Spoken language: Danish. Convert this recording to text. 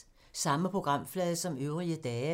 Samme programflade som øvrige dage